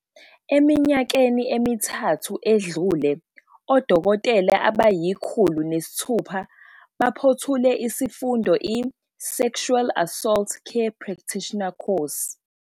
"Eminyakeni emithathu edlule, odokotela abayi-106 baphothule isifundo i-Sexual Assault Care Practitioner Course."